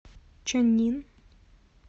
чаннин